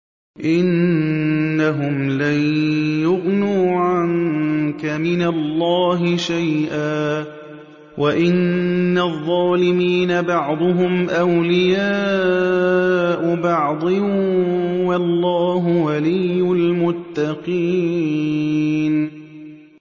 إِنَّهُمْ لَن يُغْنُوا عَنكَ مِنَ اللَّهِ شَيْئًا ۚ وَإِنَّ الظَّالِمِينَ بَعْضُهُمْ أَوْلِيَاءُ بَعْضٍ ۖ وَاللَّهُ وَلِيُّ الْمُتَّقِينَ